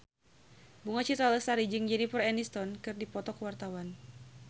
Bunga Citra Lestari jeung Jennifer Aniston keur dipoto ku wartawan